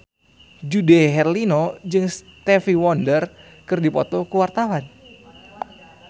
Dude Herlino jeung Stevie Wonder keur dipoto ku wartawan